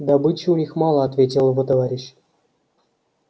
добычи у них мало ответил его товарищ